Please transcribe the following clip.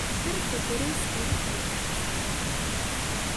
Dhirta beerista waxay kordhisaa roobka.